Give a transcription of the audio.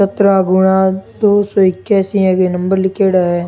सतरहा गुणा दो सौ इक्यासी ए नम्बर लिखेड़ा है।